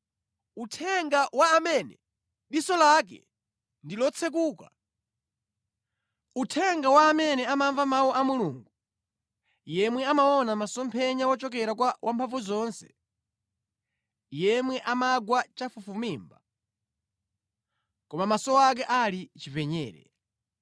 uthenga wa amene amamva mawu a Mulungu, yemwe amaona masomphenya wochokera kwa Wamphamvuzonse, yemwe amagwa chafufumimba, koma maso ake ali chipenyere: